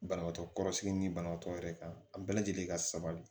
Banabaatɔ kɔrɔ sigi ni banabaatɔ yɛrɛ kan a bɛɛ lajɛlen ka sabali